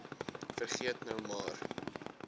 vergeet nou maar